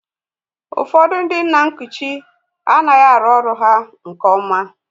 Ụfọdụ ndị nna nkuchi anaghị arụ ọrụ nke nna